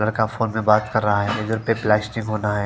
लड़का फ़ोन पे बात कर रहा है प्लास्टिक होना है।